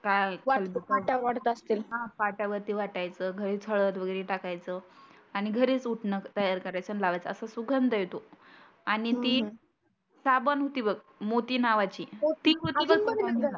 काय हा पाट्यावरती वाटायचंं घरीच हळत वगैरे टाकायचो आणि घरीच उटनं तयार करायचंं आणि लावायचं असा सुगंध येतो. आणि ती साबण होती बघ मोती नावाची मोती